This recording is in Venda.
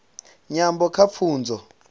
nyambo kha pfunzo